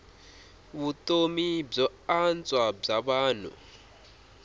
vutomi byo antswa bya vanhu